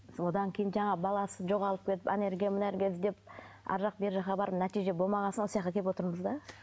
содан кейін жаңағы баласы жоғалып кетіп ана жерге мына жерге іздеп арғы жақ бергі жаққа барып нәтиже болмаған соң осы жаққа келіп отырмыз да